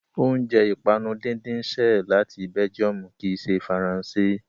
Oúnjẹ ìpanu díndín ṣẹ́ ẹ̀ láti Belgium kì í ṣe Faransé.